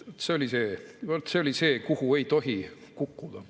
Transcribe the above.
See oli see, kuhu ei tohi kukkuda.